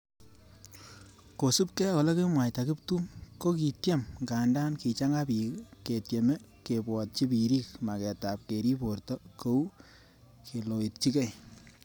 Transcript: Kosubkei ak olekomwaita kiptum kokikityem nganda kichanga pik ketyeme kebwotchi birik maketab kerib borto kou keloitchikei